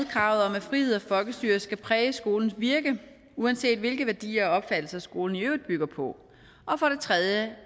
kravet om at frihed og folkestyre skal præge skolens virke uanset hvilke værdier og opfattelser skolen i øvrigt bygger på og for det tredje